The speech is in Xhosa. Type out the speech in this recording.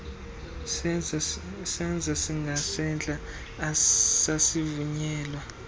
senzo singasentla sasivunyelwa